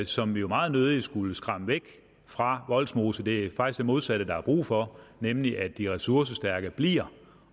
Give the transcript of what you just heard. som vi jo meget nødig skulle skræmme væk fra vollsmose det er faktisk det modsatte der er brug for nemlig at de ressourcestærke bliver